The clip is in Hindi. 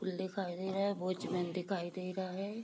फूल दिखाई दे रहा है वॉचमैन दिखाई दे रहा है ।